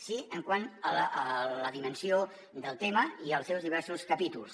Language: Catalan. sí quant a la dimensió del tema i als seus diversos capítols